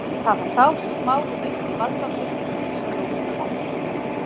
Það var þá sem Smári missti vald á sér og sló til hennar.